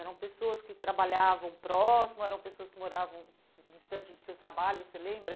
Eram pessoas que trabalhavam próximo, eram pessoas que moravam distante do seu trabalho, você lembra?